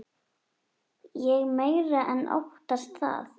Ég meira en óttast það.